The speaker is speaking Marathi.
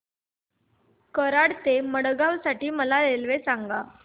कराड ते मडगाव साठी मला रेल्वे सांगा